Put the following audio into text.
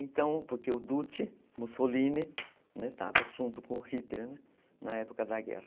Então, porque o Dutti, Mussolini, né, estava junto com Hitler na época da guerra.